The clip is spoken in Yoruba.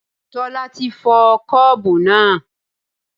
Tola ti fọ́ Kọ́ọ̀bù náà.